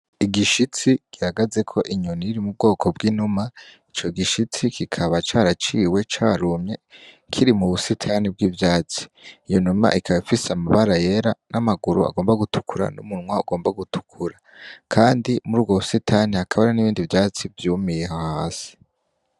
Igishitsi gihagaze ko inyuni iri mu bwoko bw'inuma ico gishitsi kikaba caraciwe carumye kiri mu busitani bw'ivyatsi iyo numa ikaba ifise amabara yera n'amaguru agomba gutukura n'umunwa ugomba gutukura, kandi muri uwo musitani haka hara n'ibindi vyatsi vyumiyeho hasi.